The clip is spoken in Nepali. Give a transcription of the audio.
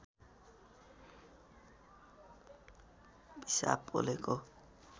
पिसाब पोलेको